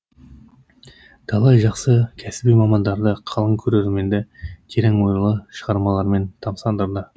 талай жақсы кәсіби мамандарды қалың көрерменді терең ойлы шығармаларымен тамсандырды